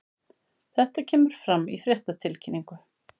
Þetta kemur fram í fréttatilkynningu